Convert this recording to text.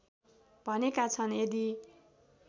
भनेका छन् यदि